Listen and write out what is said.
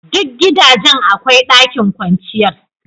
Dukan gidaje akwai ɗakin kwanciyar.